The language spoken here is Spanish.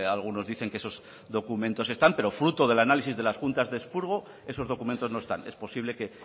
algunos dicen que esos documentos están pero fruto del análisis de las juntas de expurgo esos documentos no están es posible que